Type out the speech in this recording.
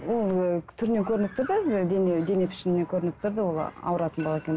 ол ыыы түрінен көрініп тұрды дене дене пішінінен көрініп тұрды ол ауыратын бала екені